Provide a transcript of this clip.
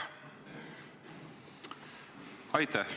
Aitäh!